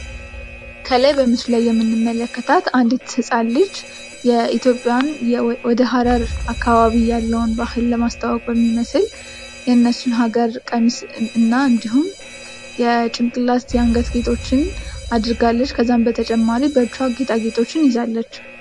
ከላይ በምስሉ ላይ የምንመለከታት አንዲት ህጻን ልጅ የኢትዮጵያን ወደ ሃረር አካባቢ ያለን ባህል ለማስተዋወቅ የሚመስል የነሱን ሃገር ቀሚስ እና እንዲሁም የጭንቅላት፣ የአንገት ጌጦችን አድርጋለችህ፤ ከዛም በተጨማሪ በእጅዋም ጌጣጌጦችን ይዛለች።